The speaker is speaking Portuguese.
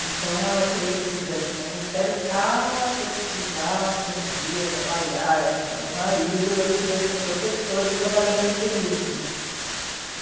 Então ela queria que eu fizesse magistério, caso eu precisasse um dia trabalhar e ajudar meu marido, eu podia ser professora e trabalhar meio período né.